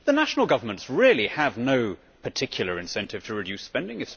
The national governments really have no particular incentive to reduce spending.